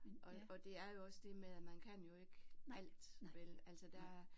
Og og det er jo også det med at man kan jo ikke alt vel altså der er